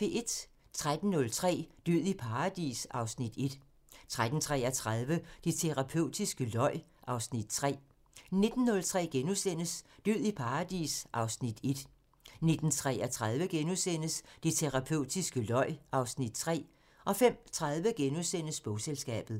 13:03: Død i paradis (Afs. 1) 13:33: Det terapeutiske løg (Afs. 3) 19:03: Død i paradis (Afs. 1)* 19:33: Det terapeutiske løg (Afs. 3)* 05:30: Bogselskabet *